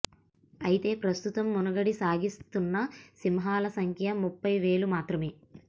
అయితే ప్రస్తుతం మనుగడ సాగి స్తున్న సింహాల సంఖ్య ముప్పై వేలు మాత్రమే